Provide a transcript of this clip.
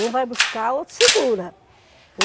Um vai buscar, outro segura.